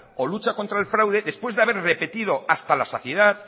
o lucha contra el fraude después de haber repetido hasta la saciedad